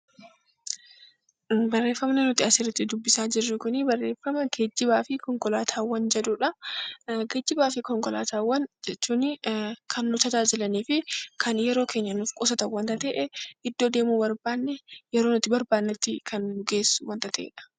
Barreeffamni nuti asirratti dubbisaa jirru kunii barreeffama 'geejjibaa fi Konkolaataawwan' jedhuu dha. Geejjibaa fi Konkolaataawwan jechuunii kan nu tajaajilanii fi kan yeroo keenya nuuf qusatan wanta ta'e, iddoo deemuu barbaanne yeroo nuti barbaannetti kan nu geessu wanta ta'ee dha.